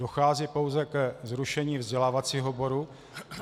Dochází pouze ke zrušení vzdělávacího oboru.